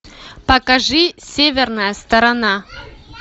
покажи северная сторона